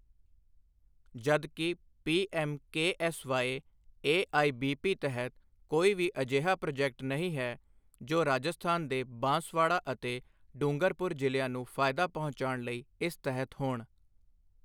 ਜਦਕਿ P M K S Y A I B P ਤਹਿਤ ਕੋਈ ਵੀ ਅਜਿਹਾ ਪ੍ਰਾਜੈਕਟ ਨਹੀਂ ਹੈ, ਜੋ ਰਾਜਸਥਾਨ ਦੇ ਬਾਂਸਵਾੜਾ ਅਤੇ ਡੂੰਗਰਪੁਰ ਜ਼ਿਲਿਆਂ ਨੂੰ ਫਾਇਦਾ ਪਹੁੰਚਾਉਣ ਲਈ ਇਸ ਤਹਿਤ ਹੋਣ।